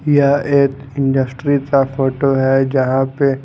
यह एक इंडस्ट्रीज का फोटो है जहां पे--